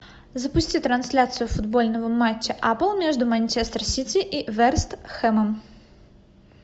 запусти трансляцию футбольного мачта апл между манчестер сити и вест хэмом